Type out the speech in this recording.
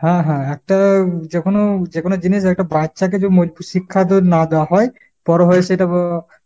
হ্যাঁ হ্যাঁ। একটা যেকোনো~ যেকোনো জিনিস একটা বাচ্ছাকে যে মজবুত শিক্ষা তো না দেওয়া হয় বড়ো হয়ে সেটা উম